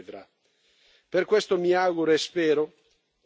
a partire dai complicati negoziati di Ginevra.